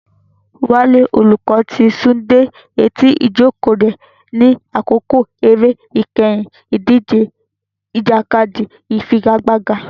Wale, olùkọ́, ti sún dé etí ìjókòó rẹ̀ ní àkókò eré ìkẹyìn ìdíje ìjàkadì ìfigagbága.